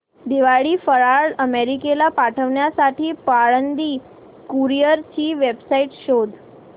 दिवाळी फराळ अमेरिकेला पाठविण्यासाठी पाळंदे कुरिअर ची वेबसाइट शोध